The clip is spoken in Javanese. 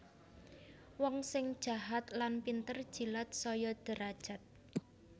Wong sing jahat lan pinter jilat saya derajat